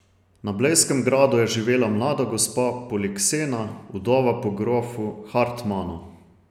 Na blejskem gradu je živela mlada gospa Poliksena, vdova po grofu Hartmanu.